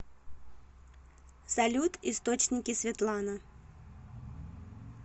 салют источники светлана